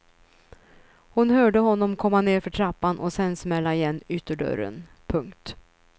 Hon hörde honom komma nerför trappan och sen smälla igen ytterdörren. punkt